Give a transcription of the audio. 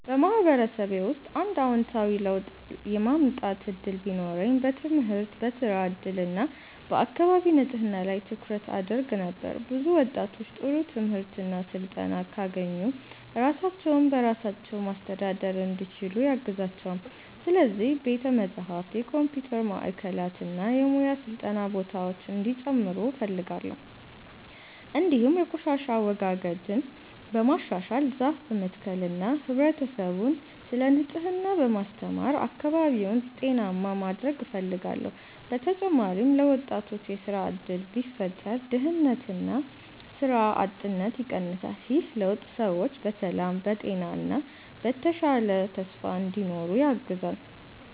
በማህበረሰቤ ውስጥ አንድ አዎንታዊ ለውጥ የማምጣት እድል ቢኖረኝ በትምህርት፣ በሥራ እድል እና በአካባቢ ንጽህና ላይ ትኩረት አደርግ ነበር። ብዙ ወጣቶች ጥሩ ትምህርት እና ስልጠና ካገኙ ራሳቸውን በራሳቸው ማስተዳደር እንዲችሉ ያግዛቸዋል። ስለዚህ ቤተ መጻሕፍት፣ የኮምፒውተር ማዕከላት እና የሙያ ስልጠና ቦታዎች እንዲጨምሩ እፈልጋለሁ። እንዲሁም የቆሻሻ አወጋገድን በማሻሻል፣ ዛፍ በመትከል እና ህብረተሰቡን ስለ ንጽህና በማስተማር አካባቢውን ጤናማ ማድረግ እፈልጋለሁ። በተጨማሪም ለወጣቶች የሥራ እድል ቢፈጠር ድህነትና ሥራ አጥነት ይቀንሳል። ይህ ለውጥ ሰዎች በሰላም፣ በጤና እና በተሻለ ተስፋ እንዲኖሩ ያግዛል።